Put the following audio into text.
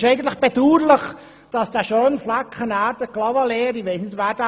Ich weiss nicht, wer von Ihnen diesen schönen Flecken Clavaleyres kennt.